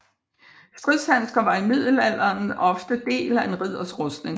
Stridshandsker var i middelalderen ofte del af en ridders rustning